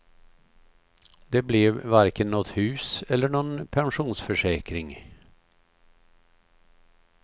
Det blev varken något hus eller någon pensionsförsäkring.